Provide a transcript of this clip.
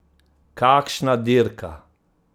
Kakšna dirka!